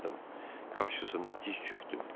Qarşısında diz çökdüm.